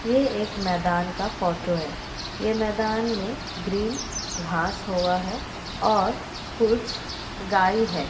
ये एक मैदान का फोटो है ये मैदान में ग्रीन घास हुआ है और कुछ गाय है।